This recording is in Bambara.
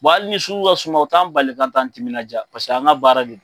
hali ni sugu ka suma u t'an bali k'an t'an timinajaa paseke an ka baara do.